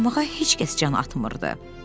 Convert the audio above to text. Oynamağa heç kəs can atmırdı.